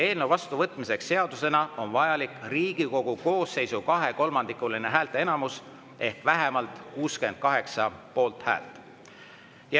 Eelnõu vastuvõtmiseks seadusena on vajalik Riigikogu koosseisu kahekolmandikuline häälteenamus ehk vähemalt 68 poolthäält.